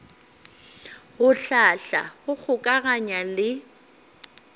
go hlahla go kgokaganya le